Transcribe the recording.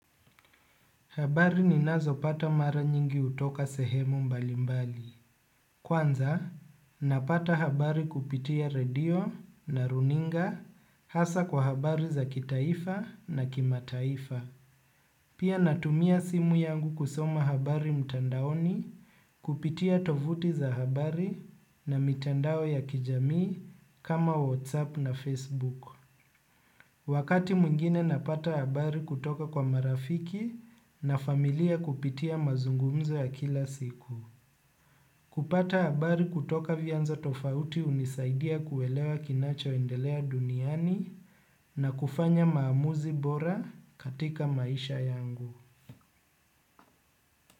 Habari ni nazo pata mara nyingi utoka sehemu mbalimbali. Kwanza, napata habari kupitia radio na runinga hasa kwa habari za kitaifa na kimataifa. Pia natumia simu yangu kusoma habari mtandaoni kupitia tovuti za habari na mitandao ya kijamii kama WhatsApp na Facebook. Wakati mwingine napata habari kutoka kwa marafiki na familia kupitia mazungumzo ya kila siku. Kupata habari kutoka vyanzo tofauti unisaidia kuelewa kinacho endelea duniani na kufanya maamuzi bora katika maisha yangu.